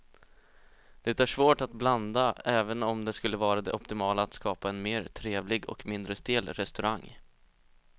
Det är svårt att blanda även om det skulle vara det optimala att skapa en mer trevlig och mindre stel restaurang.